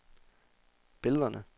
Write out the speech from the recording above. billederne